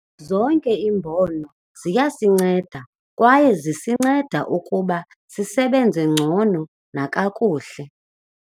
Zonke iimbono ziyasinceda kwaye zisinceda ukuba sisebenze ngcono nakakuhle.